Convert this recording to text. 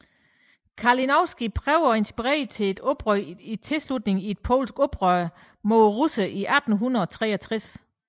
Kalinowski prøvede at inspirere til et oprør i tilslutning til et polsk oprør mod russerne i 1863